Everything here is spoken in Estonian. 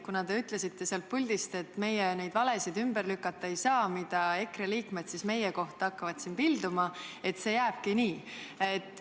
Kuna te ütlesite sealt puldist, et meie neid valesid ümber lükata ei saa, mida EKRE liikmed hakkavad meie kohta pilduma, siis kas see jääbki nii?